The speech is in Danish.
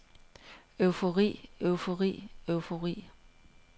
eufori eufori eufori